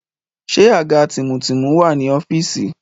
Ṣé àga tìmùtìmù wà ní ọ́fíìsì?